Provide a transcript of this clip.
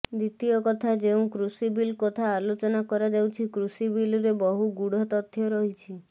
ଦ୍ୱିତୀୟ କଥା ଯେଉଁ କୃଷି ବିଲ୍ କଥା ଆଲୋଚନା କରାଯାଉଛି କୃଷିବିଲ୍ରେ ବହୁ ଗୂଢ଼ ତଥ୍ୟ ରହିଛି